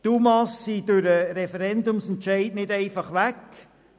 Die UMA sind durch den Referendumsentscheid nicht einfach weg.